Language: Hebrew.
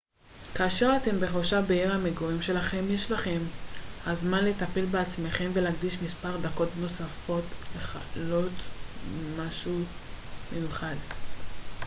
כאשר אתם בחופשה בעיר המגורים שלכם יש לכם הזמן לטפל בעצמכם ולהקדיש מספר דקות נוספות לחלוט משהו מיוחד